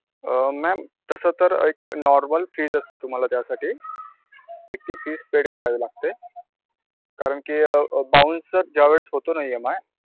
अं ma'am तस तर normal fees असते तुम्हाला द्यासाठी एक ती fees paid करावी लागते कारण की अं bouncer ज्या वेळेला होतो न EMI.